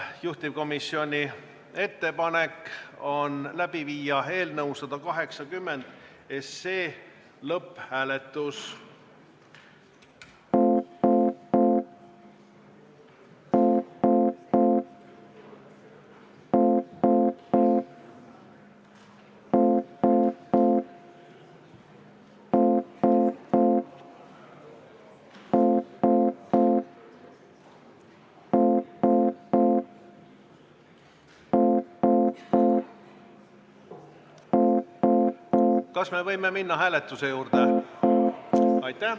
Juhtivkomisjoni ettepanek on läbi viia eelnõu 180 SE lõpphääletus.